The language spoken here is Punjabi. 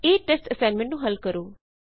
ਇਸ ਟੈਸਟ ਅਸਾਈਨਮੇਂਟ ਨੂੰ ਹਲ ਕਰੋ